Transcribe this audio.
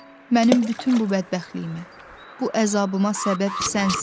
Mənim bütün bu bədbəxtliyimə, bu əzabıma səbəb sənsən.